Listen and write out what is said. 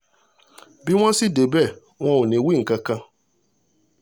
bí wọ́n sì débẹ̀ wọn ò ní wí nǹkan kan